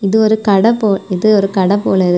இது ஒரு கடை போ இது ஒரு கடை போலருக்.